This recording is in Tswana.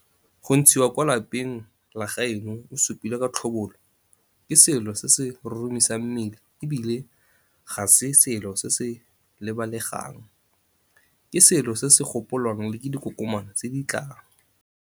Go ntshiwa kwa lapeng la gaeno o supilwe ka tlhobolo ke selo se se roromisang mmele e bile ga se selo se se lebalegang, ke selo se se gopolwang le ke dikokoma tse di tlang.